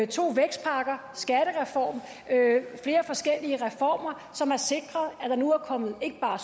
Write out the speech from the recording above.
to vækstpakker skattereform flere forskellige reformer som har sikret at der nu er kommet ikke bare